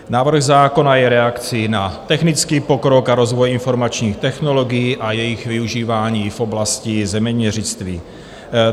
Návrh zákona je reakcí na technický pokrok a rozvoj informačních technologií a jejich využívání v oblasti zeměměřictví.